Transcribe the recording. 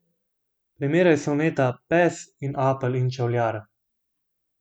Primerjaj soneta Pes in Apel in čevljar.